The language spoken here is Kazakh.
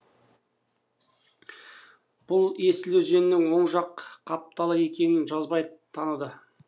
бұл есіл өзенінің оң жақ қапталы екенін жазбай таныды